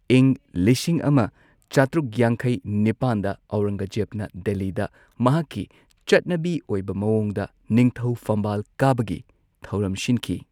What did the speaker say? ꯏꯪ ꯂꯤꯁꯤꯡ ꯑꯃ ꯆꯥꯇ꯭ꯔꯨꯛ ꯌꯥꯡꯈꯩ ꯅꯤꯄꯥꯟꯗ ꯑꯧꯔꯪꯒꯖꯦꯕꯅ ꯗꯦꯜꯂꯤꯗ ꯃꯍꯥꯛꯀꯤ ꯆꯠꯅꯕꯤ ꯑꯣꯏꯕ ꯃꯋꯣꯡꯗ ꯅꯤꯡꯊꯧ ꯐꯝꯕꯥꯜ ꯀꯥꯕꯒꯤ ꯊꯧꯔꯝ ꯁꯤꯟꯈꯤ꯫